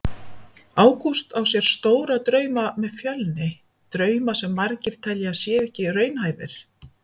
Ágúst á sér stóra drauma með Fjölni, drauma sem margir telja að séu ekki raunhæfir.